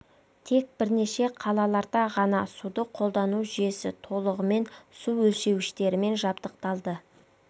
тек бірнеше қалаларда ғана суды қолдану жүйесі толығымен су өлшеуіштерімен жабдықталды